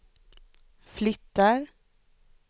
flyttar